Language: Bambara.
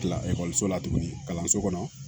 Kilakɔliso la tuguni kalanso kɔnɔ